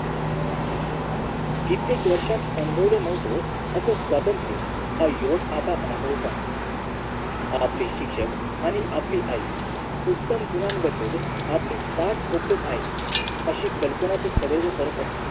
कित्येक वर्षात अनुभवल नव्हतं असं स्वतंत्र हा युवक आता अनुभवतो आहे आपले शिक्षक आणि आपली आई उत्तम गुणांबद्दल आपली पाठ ठोकवत आहेत अशी कल्पना तो सदैव करत असतो